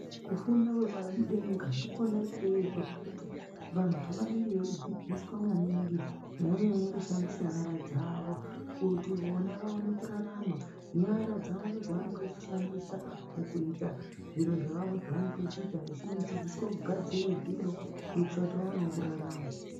Kufunda kwepadenga ndikona ikweyo kwekuti vantu vanenge veidzidziswa maningi nyanye-nyanye kushandise nyara dzavo. Kuti vona vaone kurarama, nyara dzavo ndoodzavanenge vechishandisa mukuita zviro zvavo zvavanenge vechiita vechidzidziswe kugadzire zviro, kuitira kuti vaonewo kurarama.